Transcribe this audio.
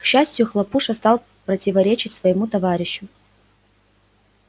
к счастию хлопуша стал противоречить своему товарищу